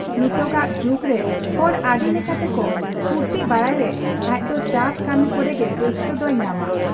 ᱱᱤᱛᱚᱜᱟᱜ ᱡᱩᱜᱽᱨᱮ ᱦᱚᱲ ᱟᱹᱰᱤ ᱞᱮᱠᱟ ᱛᱮᱠᱚ ᱯᱷᱨᱛᱤ ᱵᱟᱲᱟᱭ ᱨᱮ ᱟᱡᱫᱚ ᱪᱟᱥ ᱠᱟᱹᱢᱤ ᱠᱚᱨᱮᱜᱮ ᱨᱟᱹᱥᱠᱟᱹ ᱫᱚᱭ ᱧᱟᱢᱟ ᱾